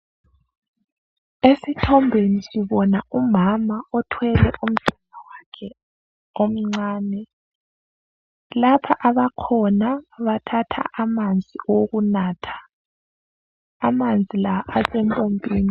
Esithombeni sibona umama othwele umntwana wakhe omncane. Lapha abakhona bathatha amanzi owokunatha, amanzi la asempompini.